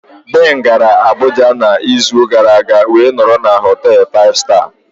Ben gara Abuja n'izu gara aga wee nọrọ na họtel 5 star.